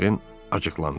Votren acıqlandı.